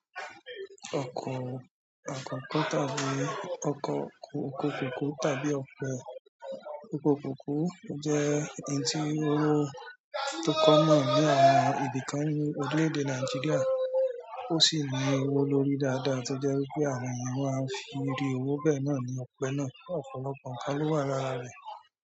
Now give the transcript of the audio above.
Ọkọ̀ akọ́kọ́ tàbí ọkọ̀ oko kòkó tàbí ọkọ̀ oko kòkó jẹ́ ohun tí ó ó tó kọ́mọ̀ ní àwọn ibì kan ní orílẹ̀ èdè Nàìjíríà. Ó sì ní owó lórí dáadáa tó jẹ́ wípé àwọn ènìyàn máa ń fi irú owó náà ní ọpẹ́ náà ọ̀pọ̀lọpọ̀ nǹkan ló wà lára rẹ̀.